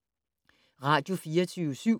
Radio24syv